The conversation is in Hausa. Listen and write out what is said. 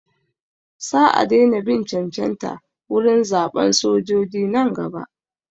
Sa a daina bin cancanta wurin zaɓan sojoji nan gaba.